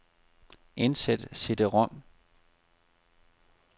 Indsæt cd-rom.